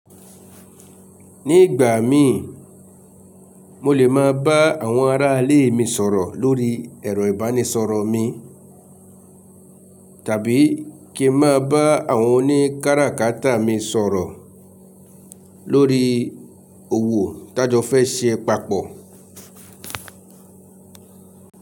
Ní ìgbà mi, mo lè máa bá àwọn aráalé mi sọ̀rọ̀ lórí ẹ̀rọ ìbánisọ̀rọ̀ mi, tàbí kí n máa bá àwọn oní káràkátà mi sọ̀rọ̀ lórí òwò tá jò fẹ́ ṣe papọ̀.